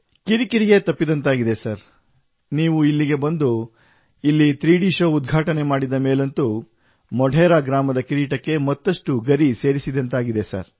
ಕಿರಿ ಕಿರಿಯೇ ತಪ್ಪಿದಂತಾಗಿದೆ ಸರ್ ನೀವು ಇಲ್ಲಿಗೆ ಬಂದು ಇಲ್ಲಿ 3D ಶೋ ಉದ್ಘಾಟನೆ ಮಾಡಿದ ಮೇಲಂತೂ ಮೊಢೆರಾ ಗ್ರಾಮದ ಕಿರೀಟಕ್ಕೆ ಮತ್ತಷ್ಟು ಗರಿ ಸೇರಿಸಿದಂತಾಗಿದೆ ಸರ್